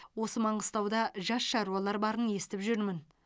осы маңғыстауда жас шаруалар барын естіп жүрмін